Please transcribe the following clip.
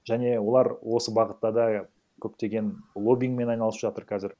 және олар осы бағытта да көптеген логинмен айналысып жатыр қазір